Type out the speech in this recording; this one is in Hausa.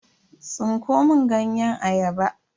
Tsinko mun ganyen ayaba.